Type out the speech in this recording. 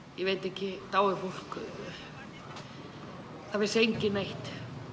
ég veit ekki dáið fólk það vissi enginn neitt